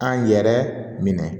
An yɛrɛ minɛ